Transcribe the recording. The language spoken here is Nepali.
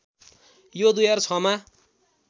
यो २००६ मा